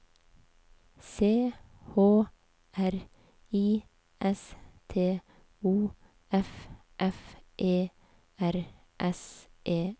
C H R I S T O F F E R S E N